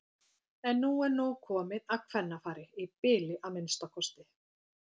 En nú er nóg komið af kvennafari- í bili að minnsta kosti.